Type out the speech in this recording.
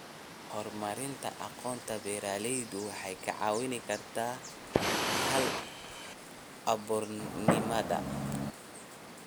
Horumarinta aqoonta beeralayda waxay kaa caawin kartaa hal-abuurnimada.